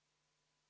Head kolleegid!